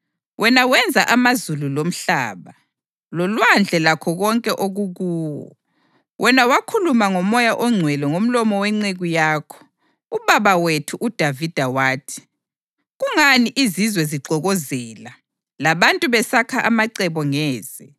Wena wakhuluma ngoMoya oNgcwele ngomlomo wenceku yakho, ubaba wethu uDavida wathi: ‘Kungani izizwe zixokozela, labantu besakha amacebo ngeze?